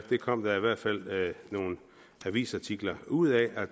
det kom der i hvert fald nogle avisartikler ud af